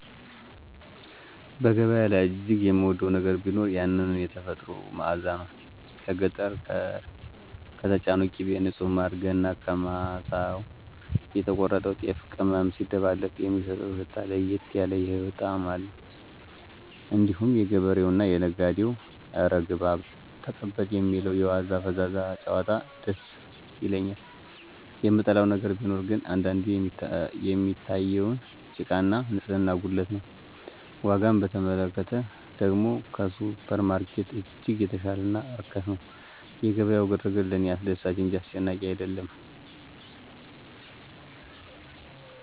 በገበያ ላይ እጅግ የምወደው ነገር ቢኖር ያንን "የተፈጥሮ መዓዛ" ነው። ከገጠር የተጫነው ቅቤ፣ ንጹህ ማር፣ ገና ከማሳው የተቆረጠው ጤፍና ቅመም ሲደባለቅ የሚሰጠው ሽታ ለየት ያለ የህይወት ጣዕም አለው። እንዲሁም የገበሬውና የነጋዴው "እረ ግባ"፣ "ተቀበል" የሚለው የዋዛ ፈዛዛ ጭዋታ ደስ ይለኛል። የምጠላው ነገር ቢኖር ግን አንዳንዴ የሚታየውን ጭቃና ንጽህና ጉድለት ነው። ዋጋን በተመለከተ ደግሞ ከሱፐርማርኬት እጅግ የተሻለና ርካሽ ነው። የገበያው ግርግር ለእኔ አስደሳች እንጂ አስጨናቂ አይደለም